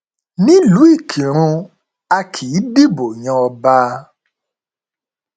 nílùú ìkírùn a kì í dìbò yan ọba